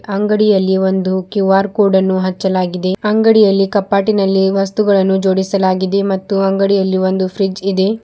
ಅಂಗಡಿಯಲ್ಲಿ ಒಂದು ಕ್ಯೂ_ಆರ್ ಕೋಡನ್ನು ಹಚ್ಚಲಾಗಿದೆ ಅಂಗಡಿಯಲ್ಲಿ ಕಪಾಟಿನಲ್ಲಿ ವಸ್ತುಗಳನ್ನು ಜೋಡಿಸಲಾಗಿದೆ ಮತ್ತು ಅಂಗಡಿಯಲ್ಲಿ ಒಂದು ಫ್ರಿಜ್ಜ್ ಇದೆ.